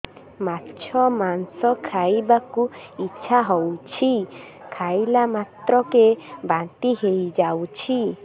ମାଛ ମାଂସ ଖାଇ ବାକୁ ଇଚ୍ଛା ହଉଛି ଖାଇଲା ମାତ୍ରକେ ବାନ୍ତି ହେଇଯାଉଛି